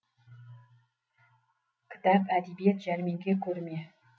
кітап әдебиет жәрмеңке көрме